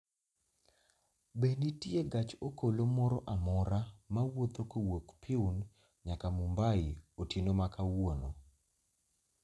Be nitie gach okolo moro amora mawuotho kowuok Pune nyaka Mumbai otieno ma kawuono?